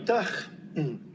Aitäh!